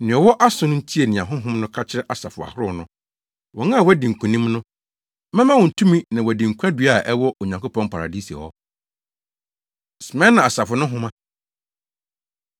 Nea ɔwɔ aso no ntie nea Honhom no ka kyerɛ asafo ahorow no. Wɔn a wɔadi nkonim no, mɛma wɔn tumi na wɔadi nkwadua a ɛwɔ Onyankopɔn paradise hɔ. Smirna Asafo No Nhoma